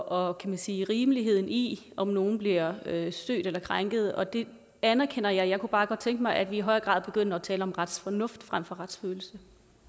og kan man sige rimeligheden i om nogle bliver stødt eller krænket og det anerkender jeg jeg kunne bare godt tænke mig at vi i højere grad begyndte at tale om retsfornuft frem for retsfølelse